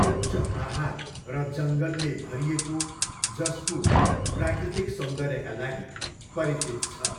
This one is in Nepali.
उच्च पाहाड र जङ्गलले भरिएको जसपुर प्राकृतिक सौन्दर्यका लागि परिचित छ।